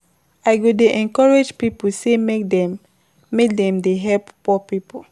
I go dey encourage pipo sey make dem make dem dey help poor pipo.